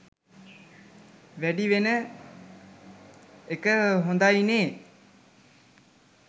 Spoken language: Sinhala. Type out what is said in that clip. වැඩි වෙන එක හොඳයිනේ.